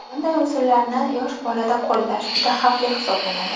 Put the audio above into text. Bunday usullarni yosh bolada qo‘llash juda xavfli hisoblanadi.